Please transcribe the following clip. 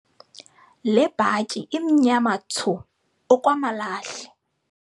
Le bhatyi imnyama thsu okwamalahle.